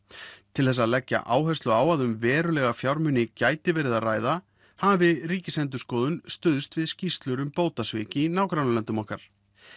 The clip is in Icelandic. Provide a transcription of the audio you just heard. til þess að leggja áherslu á að um verulega fjármuni gæti verið að ræða hafi Ríkisendurskoðun stuðst við skýrslur um bótasvik í nágrannalöndum okkar